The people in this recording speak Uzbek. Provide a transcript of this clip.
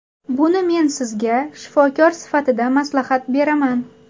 Buni men sizga shifokor sifatida maslahat beraman.